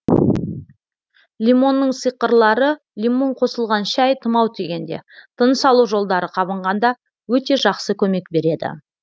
лимонның сиқырлары лимон қосылған шәй тұмау тигенде тыныс алу жолдары қабынғанда өте жақсы көмек береді